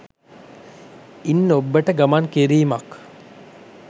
ඉන් ඔබ්බට ගමන් කිරීමක්